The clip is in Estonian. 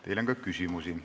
Teile on ka küsimusi.